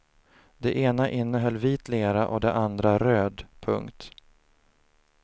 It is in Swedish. Det ena innehöll vit lera och det andra röd. punkt